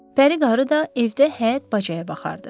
Pəri qarı da evdə həyət-bacaya baxardı.